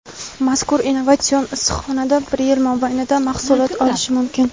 mazkur innovatsion issiqxonada bir yil mobaynida mahsulot olish mumkin.